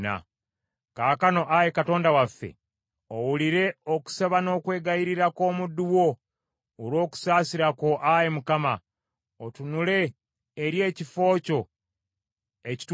“Kaakano, Ayi Katonda waffe, owulire okusaba n’okwegayirira kw’omuddu wo, olw’okusaasira kwo Ayi Mukama otunule eri ekifo kyo ekitukuvu.